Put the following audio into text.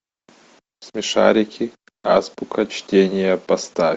смешарики азбука чтения поставь